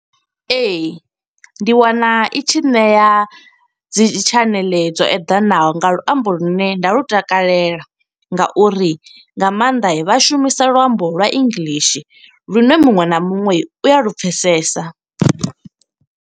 Ee, ndi wana i tshi ṋea dzi tshaneḽe dzo eḓanaho nga luambo lune nda lu takalela, nga uri nga maanḓa vha shumisa luambo lwa English. Lune muṅwe na muṅwe u a lupfesesa.